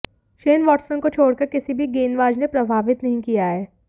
Shane Watson को छोड़कर किसी भी गेंदबाज ने प्रभावित नहीं किया है